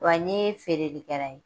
Wa n ɲe feereli kɛla ye.